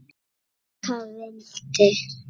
Jóka vildi.